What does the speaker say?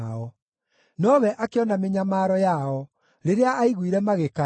Nowe akĩona mĩnyamaro yao rĩrĩa aaiguire magĩkaya;